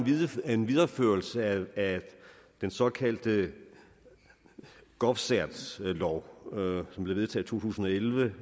en videreførelse af den såkaldte govcert lov som blev vedtaget tusind og elleve